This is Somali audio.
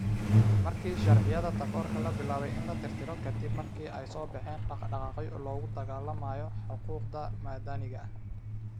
Markii sharciyada takoorka la bilaabay in la tirtiro ka dib markii ay soo baxeen dhaqdhaqaaqyo loogu dagaallamayo xuquuqda madaniga ah.